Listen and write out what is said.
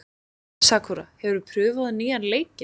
Sakura, hefur þú prófað nýja leikinn?